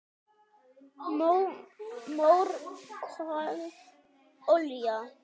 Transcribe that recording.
Mór, kol, olía